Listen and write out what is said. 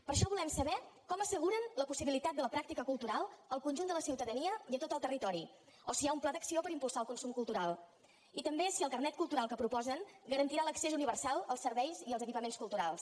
per això volem saber com asseguren la possibilitat de la pràctica cultural al conjunt de la ciutadania i a tot el territori o si hi ha un pla d’acció per impulsar el consum cultural i també si el carnet cultural que proposen garantirà l’accés universal als serveis i als equipaments culturals